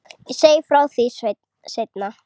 Ég segi frá því seinna.